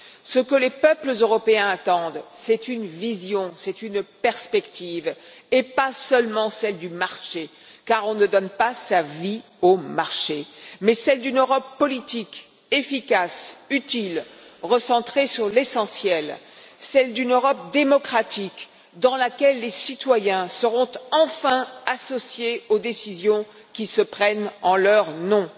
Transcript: Ce que les peuples européens attendent, c'est une vision, c'est une perspective, et pas seulement celle du marché, car on ne donne pas sa vie au marché, mais celle d'une Europe politique, efficace, utile, recentrée sur l'essentiel, celle d'une Europe démocratique, dans laquelle les citoyens seront enfin associés aux décisions qui se prennent en leur nom.